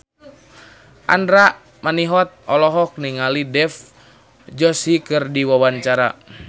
Andra Manihot olohok ningali Dev Joshi keur diwawancara